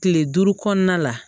Kile duuru kɔnɔna la